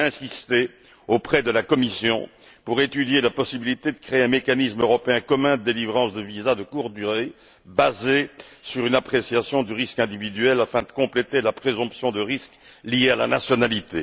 Par ailleurs, il faut insister auprès de la Commission pour qu'elle étudie la possibilité de créer un mécanisme européen commun de délivrance de visas de courte durée, basée sur une appréciation du risque individuel afin de compléter la présomption de risque liée à la nationalité.